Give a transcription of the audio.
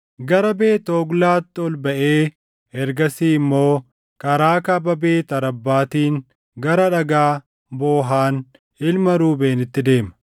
gara Beet Hoglaatti ol baʼee ergasii immoo karaa kaaba Beet Arabbaatiin gara Dhagaa Boohan ilma Ruubeenitti deema.